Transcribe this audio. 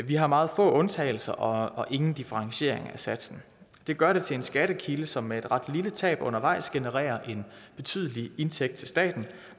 vi har meget få undtagelser og og ingen differentieringer af satsen det gør det til en skattekilde som med et ret lille tab undervejs genererer en betydelig indtægt til staten